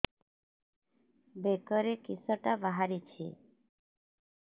ବେକରେ କିଶଟା ବାହାରିଛି